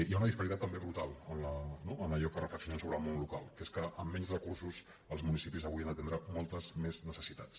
hi ha una disparitat també brutal no en allò que re·flexionem sobre el món local que és que amb menys recursos els municipis avui han d’atendre moltes més necessitats